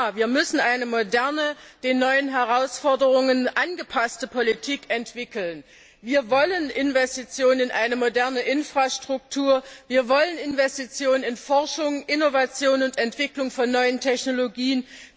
Wir müssen eine moderne, den neuen Herausforderungen angepasste Politik entwickeln. Wir wollen Investitionen in eine moderne Infrastruktur, wir wollen Investitionen in Forschung, Innovation und Entwicklung von neuen Technologien.